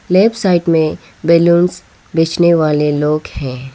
Left side में balloon बेचने वाले लोग हैं।